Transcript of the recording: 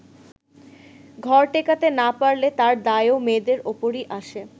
ঘর টেকাতে না পারলে তার দায়ও মেয়েদের ওপরই আসে।